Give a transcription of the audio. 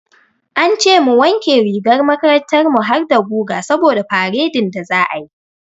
An ce mu wanke rigar makarantar mu harda guga saboda faredin da za'a yi.